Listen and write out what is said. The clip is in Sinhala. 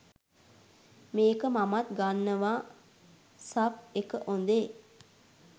මේක මමත් ගන්නවා සබ් ඒක හොදේ